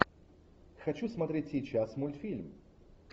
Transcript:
хочу смотреть сейчас мультфильм